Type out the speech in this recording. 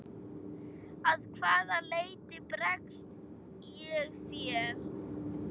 Að hvaða leyti bregst ég þér?